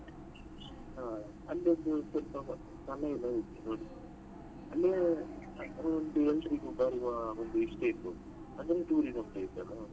ಹಾ ಅಲ್ಲಿ ಒಂದು ಎಲ್ಲಾ ಇದೆ ನೋಡಿದ್ಯಾ ಅಲ್ಲಿಗೆ ಎಲ್ಲರಿಗೆ ಬರುವ ಒಂದು ಇಷ್ಟ ಇರ್ಬೋದು ಅದೊಂದು tourism place ಅಲ್ಲ.